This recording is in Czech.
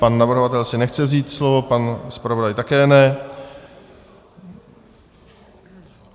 Pan navrhovatel si nechce vzít slovo, pan zpravodaj také ne.